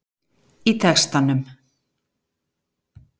í textanum